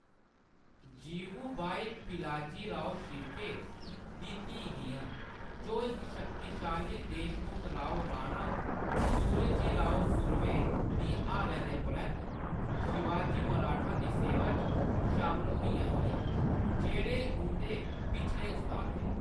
जिवुबाई पिलाजीराव शिर्के दी धीऽ हियां, जो इक शक्तिशाली देशमुख राव राणा सूर्यजीराव सुर्वे दी हारै दे परैंत्त शिवाजी मराठा दी सेवा च शामल होइयां हियां, जेह्‌‌ड़े उंʼदे पिछले उस्ताद हे।